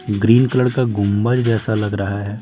Green colour का गुंबज जैसा लग रहा है।